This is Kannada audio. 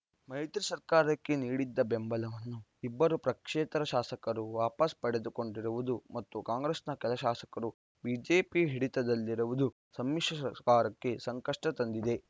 ಮೈತ್ರಿ ಸರ್ಕಾರಕ್ಕೆ ನೀಡಿದ್ದ ಬೆಂಬಲವನ್ನು ಇಬ್ಬರು ಪಕ್ಷೇತರ ಶಾಸಕರು ವಾಪಸ್‌ ಪಡೆದುಕೊಂಡಿರುವುದು ಮತ್ತು ಕಾಂಗ್ರೆಸ್‌ನ ಕೆಲ ಶಾಸಕರು ಬಿಜೆಪಿ ಹಿಡಿತದಲ್ಲಿರುವುದು ಸಮ್ಮಿಶ್ರ ಸರ್ಕಾರಕ್ಕೆ ಸಂಕಷ್ಟತಂದಿದೆ